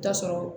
Taa sɔrɔ